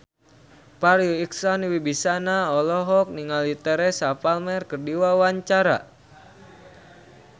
Farri Icksan Wibisana olohok ningali Teresa Palmer keur diwawancara